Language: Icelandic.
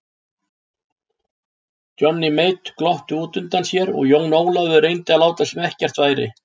Johnny Mate glotti útundan sér og Jón Ólafur reyndi að láta sem ekkert væri.